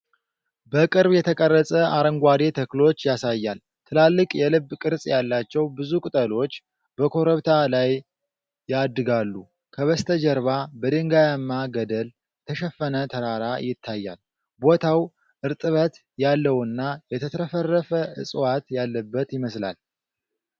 በቅርብ የተቀረፀ አረንጓዴ ተክሎች ያሳያል። ትላልቅ የልብ ቅርጽ ያላቸው ብዙ ቅጠሎች በኮረብታ ላይ ያድጋሉ። ከበስተጀርባ በድንጋያማ ገደል የተሸፈነ ተራራ ይታያል። ቦታው እርጥበት ያለውና የተትረፈረፈ እፅዋት ያለበት ይመስላል።